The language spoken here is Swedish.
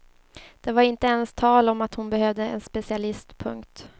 Det var inte ens tal om att hon behövde en specialist. punkt